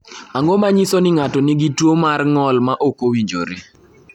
Ang’o ma nyiso ni ng’ato nigi tuwo mar ng’ol ma ok owinjore?